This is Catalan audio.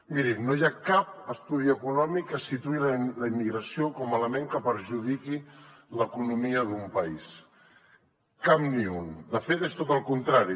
mirin no hi ha cap estudi econòmic que situï la immigració com a element que perjudiqui l’economia d’un país cap ni un de fet és tot al contrari